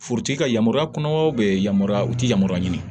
Forotigi ka yamaruya kɔnɔ yamaruya u ti yamaruya ɲini